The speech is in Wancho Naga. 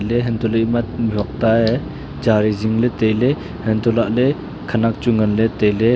le hanto ema mijhok ta a ye chari jing le taile hanto lahle khanak chu ngang le taile.